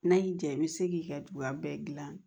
N'a y'i diya i bɛ se k'i ka duwawuba bɛɛ dilan